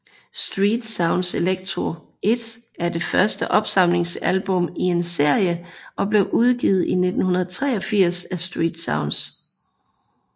Street Sounds Electro 1 er det første opsamlingsalbum i en serie og blev udgivet i 1983 af StreetSounds